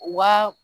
Wa